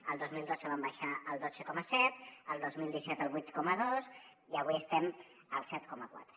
el dos mil dotze van baixar al dotze coma set el dos mil disset al vuit coma dos i avui estem al set coma quatre